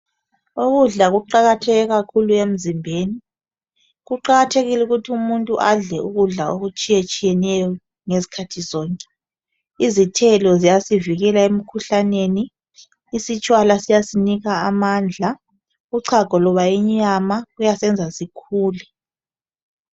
ukudla kuqakathekile kakhulu emzimbeni kuqakatheikile ukuthi adle ukudla okutshiyeneyo izikhathi zonke izithelo ziyasi vikela emkhuhlaneni isitshwala siyasipha amandla ucago loba inyama luyasenza sikhule.